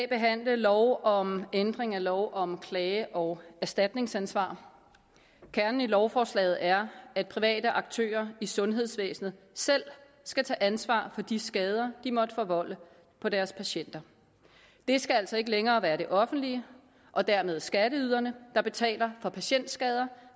behandle lov om ændring af lov om klage og erstatningsadgang kernen i lovforslaget er at private aktører i sundhedsvæsenet selv skal tage ansvar for de skader de måtte forvolde på deres patienter det skal altså ikke længere være det offentlige og dermed skatteyderne der betaler for patientskader